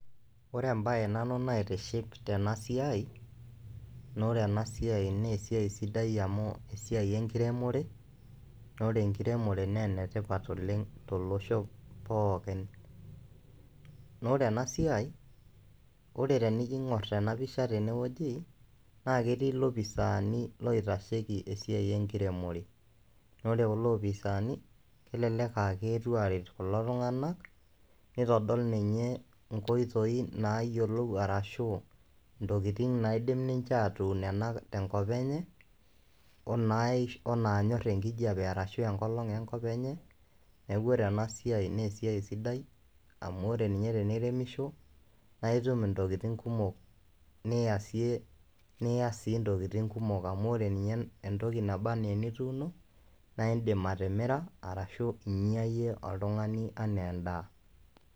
Ore embaye nanu naitiship tena siai naa ore ena siai naa esiai sidai amu esiai enkiremore naa ore enkiremore naa ene tipat oleng' tolosho pookin. Naa ore ena siai ore tenijo iing'or tena pisha tene woji naake etii ilopisaani loitasheki esiai enkiremore naa ore kulo opisaani kelelek aake eetuo aaret kulo tung'anak, nitodol ninye nkoitoi naayolou arashu ntokitin naidim ninje aatun ena tenkop enye oo naish o naanyor enkijape arashu enkolong' enkop enye. Neeku ore ena siai nee esiai sidai amu ore ninye teniremisho nae itum ntokitin kumok niasie niasie ntokitin kumok amu ore ninye entoki naba naa enituuno nae iindim atimira, arashu inya iyie oltung'ani enee endaa.